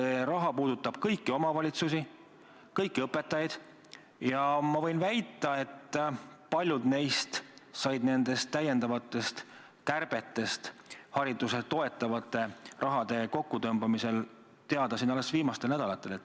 See raha puudutab kõiki omavalitsusi, kõiki õpetajaid ja ma võin väita, et paljud neist said lisakärbetest haridust toetava raha kokkutõmbamisel teada alles viimastel nädalatel.